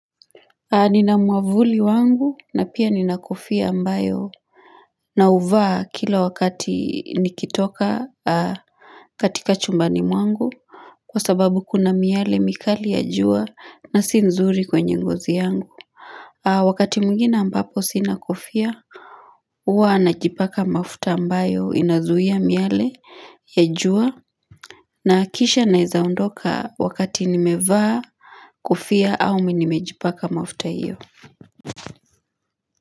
Nina muavuli wangu na pia nina kofia ambayo na uvaa kila wakati nikitoka katika chumbani mwangu kwa sababu kuna miale mikali ya jua na si nzuri kwenye ngozi yangu wakati mwingine ambapo sina kofia huwa najipaka mafuta ambayo inazuia miale ya jua na akisha naezaondoka wakati nimevaa kofia au nimejipaka mafuta iyo.